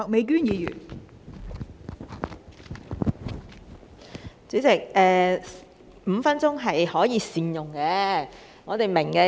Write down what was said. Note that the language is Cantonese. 代理主席，我們明白5分鐘也是可以善用的。